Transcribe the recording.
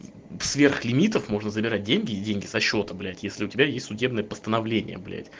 сверх лимитов можно забирать деньги деньги со счета блять если у тебя есть судебное постановление